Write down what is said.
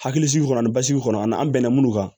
Hakilisigi kɔnɔ ani basigi kɔnɔ ani an bɛnna minnu kan